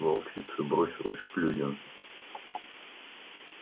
волчица бросилась к людям